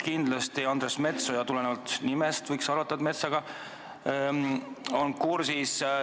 Kindlasti võiks arvata, et Andres Metsoja on juba tulenevalt oma nimest metsaasjadega kursis.